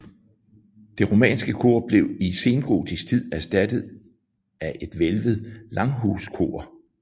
Det romanske kor blev i sengotisk tid erstattet af et hvælvet langhuskor